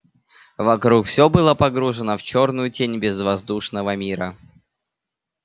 вокруг все было погружено в чёрную тень безвоздушного мира